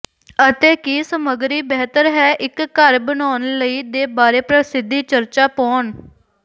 ਅਤੇ ਕੀ ਸਮੱਗਰੀ ਬਿਹਤਰ ਹੈ ਇੱਕ ਘਰ ਬਣਾਉਣ ਲਈ ਦੇ ਬਾਰੇ ਪ੍ਰਸਿੱਧੀ ਚਰਚਾ ਪਾਉਣ